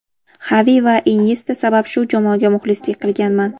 Xavi va Inyesta sabab shu jamoaga muxlislik qilganman.